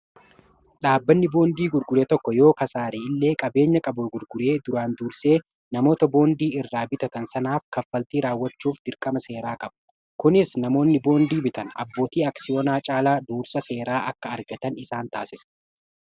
dhaabbanni boondii gurgure tokko yoo kasaare illee qabeenya qabu gurguree duraan duursee namoota boondii irraa bitatan sanaaf kaffaltii raawwachuuf dirqama seeraa qabu kunis namoonni boondii bitan abbootii aksiyoonaa caalaa duursa seeraa akka argatan isaan taasese